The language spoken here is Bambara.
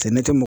Cɛ ne tɛ